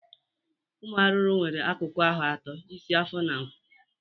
Ụmụ arụrụ nwere akụkụ ahụ ato: isi, afọ na ngụ.